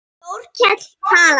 Þórkell talaði.